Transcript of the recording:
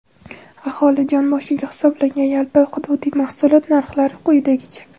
Aholi jon boshiga hisoblangan yalpi hududiy mahsulot narxlari quyidagicha:.